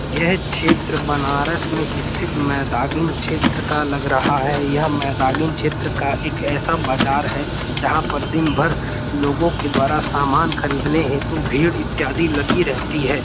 यह क्षेत्र बनारस में स्थित मैदागिन क्षेत्र का लग रहा है यह मैदागिन क्षेत्र का एक ऐसा बाजार है जहाँ पर दिन भर लोगों के द्वारा सामान खरीदने हेतु भीड़ इत्यादि लगी रहती है।